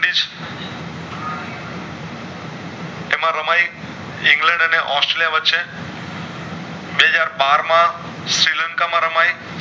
એમાં રમાય ઇંગ્લેન્ડ અને ઑસ્ટ્રેલિયા વચ્ચે બે હાજર બાર માં શ્રી લંકા માં રમાય